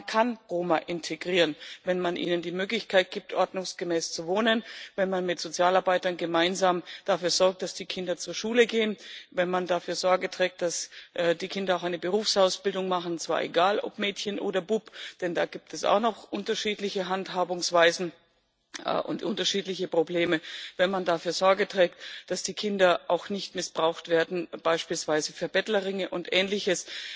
Man kann Roma integrieren, wenn man ihnen die Möglichkeit gibt, ordnungsgemäß zu wohnen, wenn man mit Sozialarbeitern gemeinsam dafür sorgt, dass die Kinder zur Schule gehen, wenn man dafür Sorge trägt, dass die Kinder auch eine Berufsausbildung machen und zwar egal, ob Mädchen oder Bub, denn da gibt es auch noch unterschiedliche Handhabungsweisen und unterschiedliche Probleme wenn man dafür Sorge trägt, dass die Kinder auch nicht missbraucht werden, beispielsweise für Bettlerringe und Ähnliches.